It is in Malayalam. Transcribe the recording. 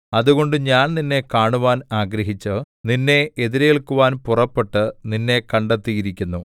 അതുകൊണ്ട് ഞാൻ നിന്നെ കാണുവാൻ ആഗ്രഹിച്ച് നിന്നെ എതിരേല്ക്കുവാൻ പുറപ്പെട്ട് നിന്നെ കണ്ടെത്തിയിരിക്കുന്നു